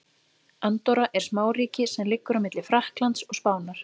Andorra er smáríki sem liggur á milli Frakklands og Spánar.